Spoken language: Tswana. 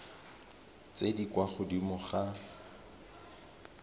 tse di kwa godimo ga